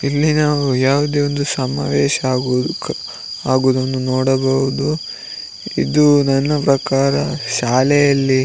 ಇಲ್ಲಿ ನಾವು ಯಾವುದೇ ಒಂದು ಸಮಾವೇಶ ಆಗುವುದು ಆಗುವುದನ್ನು ನೋಡಬಹುದು ಇದು ನನ್ನ ಪ್ರಕಾರ ಶಾಲೆಯಲ್ಲಿ --